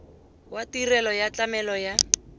wa tirelo ya tlamelo ya